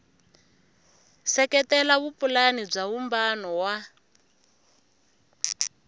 seketela vupulani bya vumbano wa